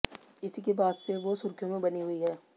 इसी के बाद से वो सुर्खियों में बनी हुई हैं